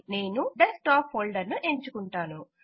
నేను desktop folder ను ఎంచుకుంటాను